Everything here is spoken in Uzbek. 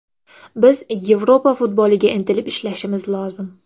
Biz Yevropa futboliga intilib ishlashimiz lozim.